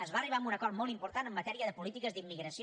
es va arribar a un acord molt important en matèria de polítiques d’immigració